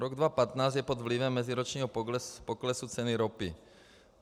Rok 2015 je pod vlivem meziročního poklesu ceny ropy.